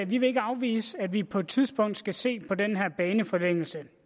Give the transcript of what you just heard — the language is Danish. vi vil ikke afvise at vi på et tidspunkt skal se på den her baneforlængelse